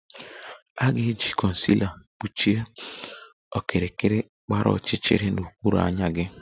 A ga-eji concealer kpuchie okirikiri gbara ọchịchịrị n'okpuru anya gị